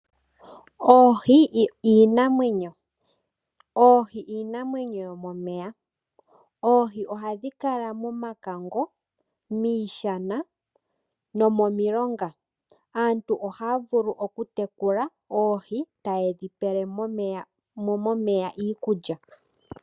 Oohi iinamwenyo yomomeya. Oohi oha dhi kala momakango, miishana nomomilonga. Aantu oha ya vulu oku tekula oohi ta ye dhi pele mo momeya iikulya.